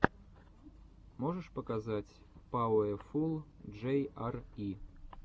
можешь показать пауэфул джей ар и